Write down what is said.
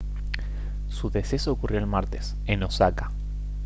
su deceso ocurrió el martes en osaka